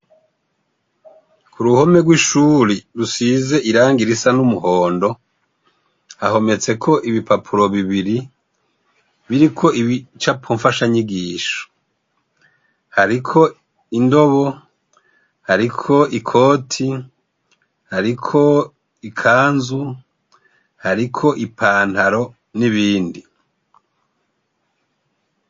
Ku ruhome rw'ishuri rusize irangi risa n'umuhondo hahometseko ibipapuro bibiri biriko ibicapo mfasha nyigisho hariko indobo hariko ikoti hariko ikanzu hariko ipantaro n'ibindi.